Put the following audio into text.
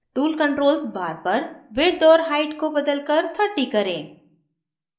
tool controls bar पर width और height को बदलकर 30 करें